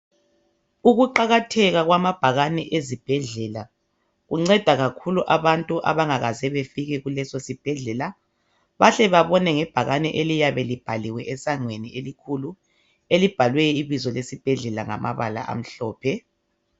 Ukuqakatheka kwamabhakane ezibhedlela kunceda kakhulu abantu abangakaze befike kuleso sibhedlela bahle babone ngebhakane eliyabe libhaliwe esangweni elikhulu elibhalwe ibizo lesibhedlela ngamabala amhlophe.